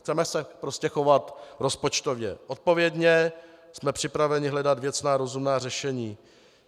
Chceme se prostě chovat rozpočtově odpovědně, jsme připraveni hledat věcná, rozumná řešení.